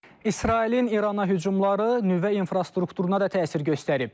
İsrailin İrana hücumları nüvə infrastrukturuna da təsir göstərib.